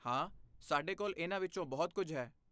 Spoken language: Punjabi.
ਹਾਂ, ਸਾਡੇ ਕੋਲ ਇਹਨਾਂ ਵਿੱਚੋਂ ਬਹੁਤ ਕੁਝ ਹੈ।